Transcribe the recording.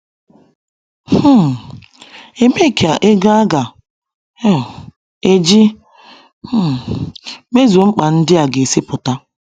um Ebee ka ego aga um eji um mezuo mkpa ndị a ga si pụta?